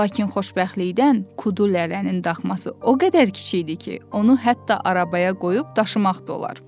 Lakin xoşbəxtlikdən Kudulələnin daxması o qədər kiçik idi ki, onu hətta arabaya qoyub daşımaq da olar.